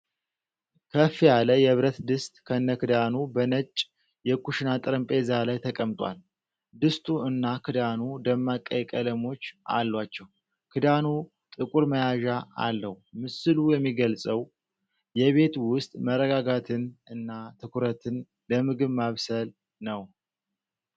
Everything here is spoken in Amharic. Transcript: ከፍ ያለ የብረት ድስት ከነክዳኑ በነጭ የኩሽና ጠረጴዛ ላይ ተቀምጧል። ድስቱ እና ክዳኑ ደማቅ ቀይ ቀለሞች አሏቸው፣ ክዳኑ ጥቁር መያዣ አለው። ምስሉ የሚገልጸው የቤት ውስጥ መረጋጋትን እና ትኩረትን ለምግብ ማብሰል ነው።